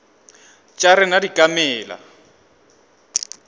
tša rena di ka mela